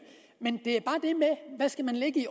men hvad skal man lægge i